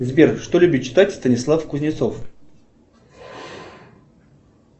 сбер что любит читать станислав кузнецов